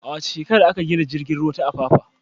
A wace shekara aka gina tashar jiragen ruwa ta Apapa?